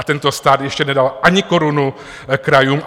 A tento stát ještě nedal ani korunu krajům.